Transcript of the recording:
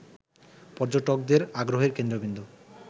পর্যটকদের আগ্রহের কেন্দ্রবিন্দু